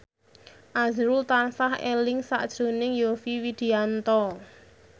azrul tansah eling sakjroning Yovie Widianto